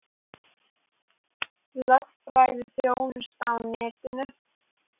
Lögfræðiþjónusta á netinu